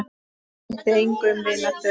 Breytti engu um vináttu þeirra.